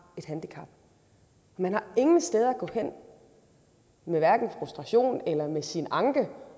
et handicap man har ingen steder at gå hen med hverken frustration eller med sin anke